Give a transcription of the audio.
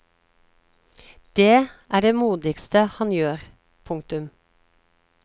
Dét er det modigste han gjør. punktum